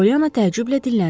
Polyana təəccüblə dinləndi.